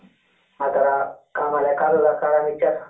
ಅತರ ಆಮೇಲೆ mixture.